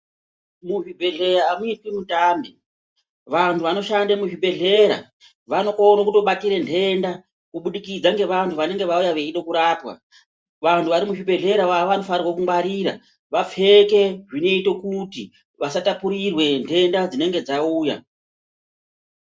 Muzvibhedhlera amuitwi mutambe. Vanhu vanoshande muzvibhedhlera vanokone kutobatire nhenda kubudikidza nevanhu vanenge vauya veide kurapwa. Vanhu vari muzvibhedhlera vanofanira kungwarira vapfeke zvinoite kuti vasatapurirwe nhenda dzinenge dzauya.